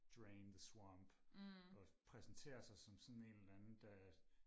drain the swamp og præsenterer sig som sådan en eller anden der